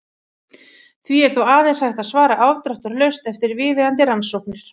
Því er þó aðeins hægt að svara afdráttarlaust eftir viðeigandi rannsóknir.